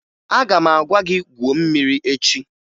Aga m aga gwuo mmiri echi